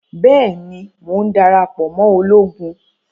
Bẹẹni, Mo n darapọ mọ ologun